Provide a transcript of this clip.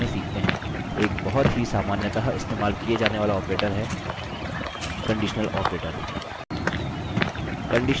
एक बहुत ही सामान्यतः इस्तेमाल किये जाने वाला operator है conditional operator